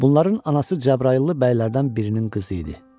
Bunların anası Cəbrayıllı bəylərdən birinin qızı idi.